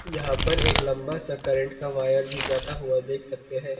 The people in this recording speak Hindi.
यहां पर एक लंब सा करेंट का वायर भी जाता हुआ देख सकते है।